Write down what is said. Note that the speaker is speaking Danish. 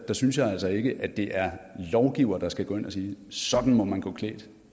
synes jeg altså ikke at det er lovgiverne der skal gå ind og sige sådan må man gå klædt